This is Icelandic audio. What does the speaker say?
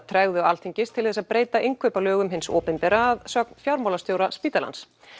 tregðu Alþingis til þess að breyta innkaupalögum hins opinbera að sögn fjármálastjóra spítalans